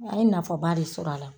An ye nafaba de sɔrɔ a la.